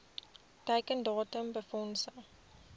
teiken datum befondsing